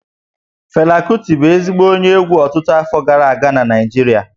Fela Kuti bụ ezigbo onye egwú ọtụtụ afọ gara aga na Naịjirịa